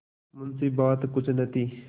मुंशीबात कुछ न थी